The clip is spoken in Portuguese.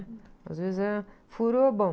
Às vezes é... Furou, bom.